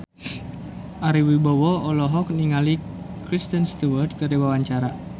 Ari Wibowo olohok ningali Kristen Stewart keur diwawancara